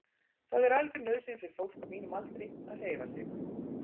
Það er algjör nauðsyn fyrir fólk á mínum aldri að hreyfa sig.